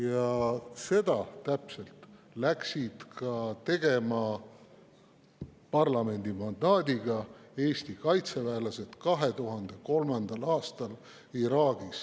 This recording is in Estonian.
Täpselt seda läksidki Eesti kaitseväelased tegema – parlamendi mandaadiga – 2003. aastal Iraagis.